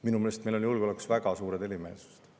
Minu meelest on meil julgeolekus väga suured erimeelsused.